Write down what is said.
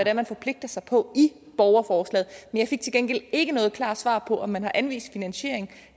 er man forpligter sig på i borgerforslaget men jeg fik til gengæld ikke noget klart svar på om man har anvist finansiering